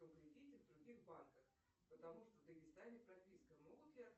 кредиты в других банках потому что в дагестане прописка могут ли